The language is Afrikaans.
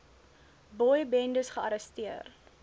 boy bendes gearresteer